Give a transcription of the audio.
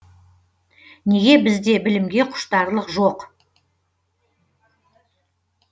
неге бізде білімге құштарлық жоқ